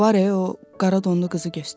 Var o qara donlu qızı göstərər.